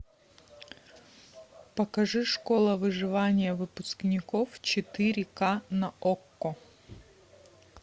покажи школа выживания выпускников четыре к на окко